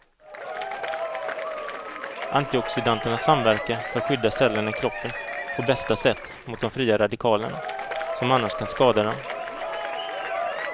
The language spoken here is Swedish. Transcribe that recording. Antioxidanterna samverkar för att skydda cellerna i kroppen på bästa sätt mot de fria radikalerna, som annars kan skada dem.